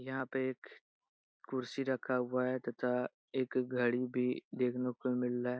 यहाँ पे एक कुर्सी रखा हुआ है तथा एक घड़ी भी देखने को मिल रहा है।